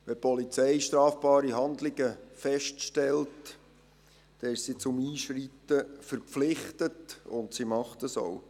Wenn die Polizei strafbare Handlungen feststellt, ist sie zum Einschreiten verpflichtet, und das tut sie auch.